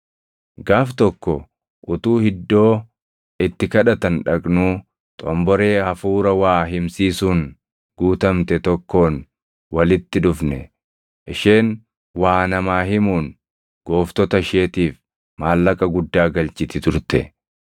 Gaaf tokko utuu iddoo itti kadhatan dhaqnuu xomboree hafuura waa himsiisuun guutamte tokkoon walitti dhufne; isheen waa namaa himuun gooftota isheetiif maallaqa guddaa galchiti turte.